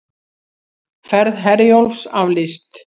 Ferð Herjólfs aflýst